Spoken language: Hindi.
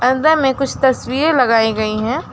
में कुछ तस्वीर लगाई गई है।